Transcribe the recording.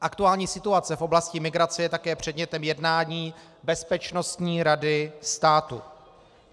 Aktuální situace v oblasti migrace je také předmětem jednání Bezpečnostní rady státu.